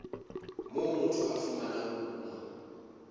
moo motho a fumanang kuno